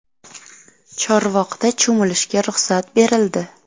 Chorvoqda cho‘milishga ruxsat berildi.